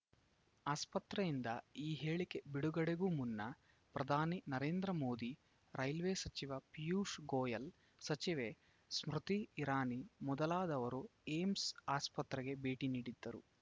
ಆಸ್ಪತ್ರೆಯಿಂದ ಈ ಹೇಳಿಕೆ ಬಿಡುಗಡೆಗೂ ಮುನ್ನ ಪ್ರಧಾನಿ ನರೇಂದ್ರ ಮೋದಿ ರೈಲ್ವೆ ಸಚಿವ ಪೀಯೂಷ್‌ ಗೋಯಲ್‌ ಸಚಿವೆ ಸ್ಮೃತಿ ಇರಾನಿ ಮೊದಲಾದವರು ಏಮ್ಸ್‌ ಆಸ್ಪತ್ರೆಗೆ ಭೇಟಿ ನೀಡಿದ್ದರು